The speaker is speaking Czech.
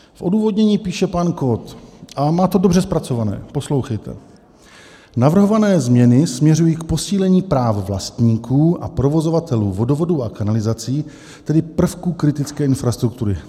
V odůvodnění píše pan Kott, a má to dobře zpracované, poslouchejte: "Navrhované změny směřují k posílení práv vlastníků a provozovatelů vodovodů a kanalizací, tedy prvků kritické infrastruktury."